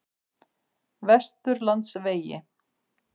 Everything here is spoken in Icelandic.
Vesturlandsvegi